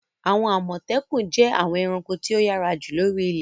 Àwọn Àmọ̀tẹ́kùn jẹ́ àwọn ẹranko tí ó yára jù lóri ilẹ̀.